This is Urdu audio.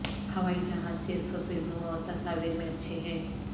ہوائی جہاز صرف فلموں اور تصاویر میں اچھے ہیں